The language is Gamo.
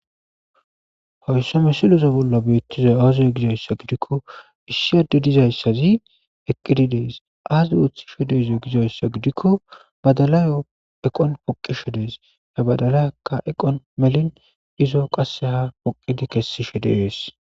Hayisa misileza bollan betiza aze gidaysa gidiko issi adey dizaysati eqidi des azi othishe gizaysa gidiko badala eqawun poqishe dees eqawan melini izo qaseka poqidi kesishe dees